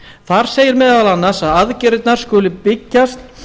þar segir meðal annars að aðgerðirnar skuli byggjast